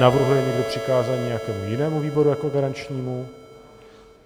Navrhuje někdo přikázání nějakému jinému výboru jako garančnímu?